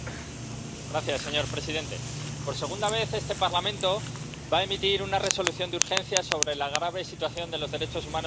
Señor presidente, por segunda vez este Parlamento va a emitir una Resolución de urgencia sobre la grave situación de los derechos humanos en Guatemala.